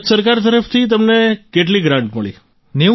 તો ભારત સરકાર તરફથી તમને કેટલી ગ્રાન્ટ મળી